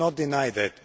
We do not deny that.